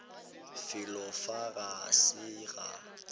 felo fa ga se ga